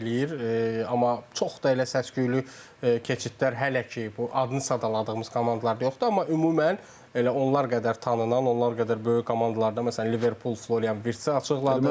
Amma çox da elə səs-küylü keçidlər hələ ki bu adını sadaladığımız komandalarda yoxdur, amma ümumən elə onlar qədər tanınan, onlar qədər böyük komandalarda məsələn Liverpool Florian Virzi açıqladı.